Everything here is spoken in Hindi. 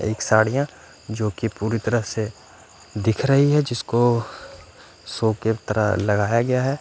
एक साड़ियाँ जोकि पूरी तरह से दिख रही है जिसको सो के तरह लगाया गया है।